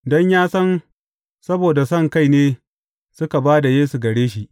Don ya san saboda sonkai ne suka ba da Yesu a gare shi.